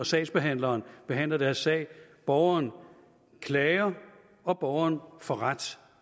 sagsbehandleren behandler deres sag borgeren klager og borgeren får ret